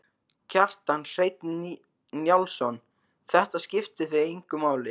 Kjartan Hreinn Njálsson: Þetta skiptir þig engu máli?